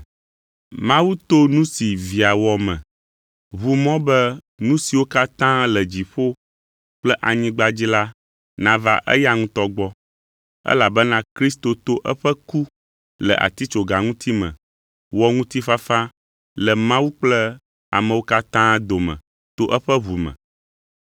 Mawu to nu si Via wɔ me, ʋu mɔ be nu siwo katã le dziƒo kple anyigba dzi la nava eya ŋutɔ gbɔ, elabena Kristo to eƒe ku le atitsoga ŋuti me wɔ ŋutifafa le Mawu kple amewo katã dome to eƒe ʋu me.